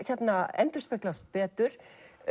endurspeglast betur